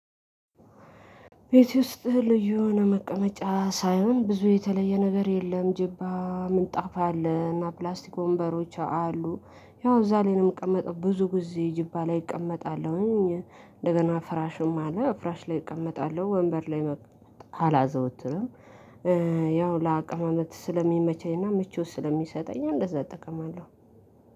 ቤት ውስጥ ልዩ የሆነ መቀመጫ ሳይሆን ብዙ የተለየ ነገር የለም። ጅባ ምንጣፋ አለ እና ፕላስቲክ ወንበሮች አሉ። ያው እዛ ላይ ነው የምቀመጠው ብዙ ጊዜ ጅባ ላይ እቀመጣለሁኝ። እንደገና ፍራሹም አለ ፍራሽ ላይ እቀመጣለሁ ወንበር ላይ አላዘወትርም። ያው ለአቅመማመጥ ስለሚመቸኝና ምቾት ስለሚሰጠኝ እንደዛ እጠቀማለሁ።